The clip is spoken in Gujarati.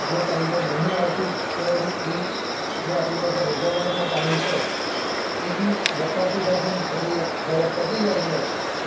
જો ટાઈમ પર નહીં આવતું તો એના લીધ એ જે આપણી પાસે રિઝર્વ માં પાણી છે એ બી વપરાતું જાય છે ને પછી એ જ્યારે પતી જાય છે